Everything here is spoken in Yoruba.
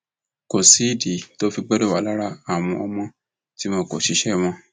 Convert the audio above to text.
kò sídìí tó fi gbọdọ wà lára àwọn ọmọ tí wọn kó ṣiṣẹ wọn